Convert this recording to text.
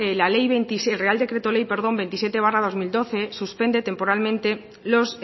el real decreto ley veintisiete barra dos mil doce suspende temporalmente los